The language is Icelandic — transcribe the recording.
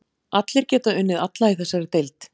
Allir geta unnið alla í þessari deild.